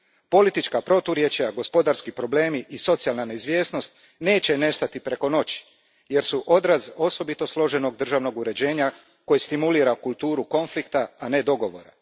Politička proturječja, gospodarski problemi i socijalna neizvjesnost neće nestati preko noći jer su odraz osobito složenog državnog uređenja, koje stimulira kulturu konflikta, a ne dogovora.